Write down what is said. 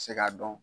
Se k'a dɔn